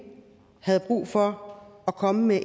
havde brug for at komme med